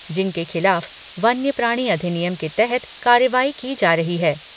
जिनके खिलाफ वन्य प्राणी अधिनियम के तहत कार्रवाई की जा रही है।